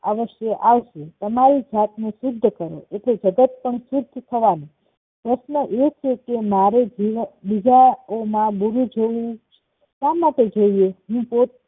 અવસ્ય આવશે તમારી જાતને શુદ્ધ કરો એટલે જગત પણ શુદ્ધ થવાનું પ્રશ્ન છે કે મારે બીજાઓ માં ગુરુઓ જેવું શા માટે જોયે